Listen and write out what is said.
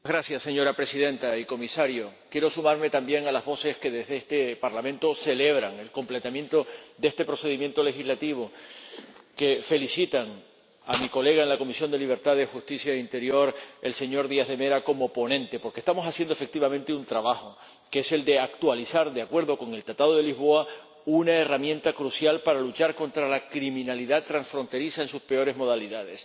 Señora Presidenta, señor Comisario, quiero sumarme también a las voces que desde este Parlamento celebran la culminación de este procedimiento legislativo que felicitan a mi colega en la Comisión de Libertades Civiles, Justicia y Asuntos de Interior, el señor Díaz de Mera, como ponente, porque estamos haciendo, efectivamente, un trabajo que es el de actualizar, de acuerdo con el Tratado de Lisboa, una herramienta crucial para luchar contra la criminalidad transfronteriza en sus peores modalidades.